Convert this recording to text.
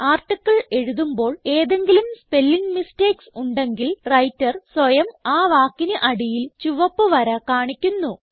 article എഴുതുമ്പോൾ ഏതെങ്കിലും spelling mistakes ഉണ്ടെങ്കിൽ വ്രൈട്ടർ സ്വയം ആ വാക്കിന് അടിയിൽ ചുവപ്പ് വര കാണിക്കുന്നു